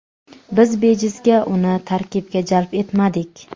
Biz bejizga uni tarkibga jalb etmadik.